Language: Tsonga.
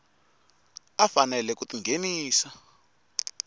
a faneleke ku ti nghenisa